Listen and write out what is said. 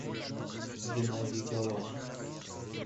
геннадий галаш